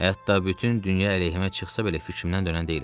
Hətta bütün dünya əleyhimə çıxsa belə fikrimdən dönən deyiləm.